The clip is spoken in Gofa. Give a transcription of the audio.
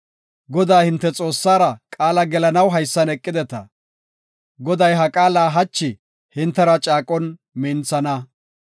Godaa, hinte Xoossara qaala gelanaw haysan eqideta. Goday ha qaala hachi hintera caaqon minthana.